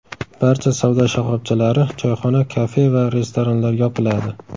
Barcha savdo shoxobchalari, choyxona, kafe va restoranlar yopiladi.